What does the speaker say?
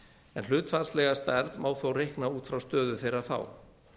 en hlutfallslega stærð má þó reikna út frá stöðu þeirra þá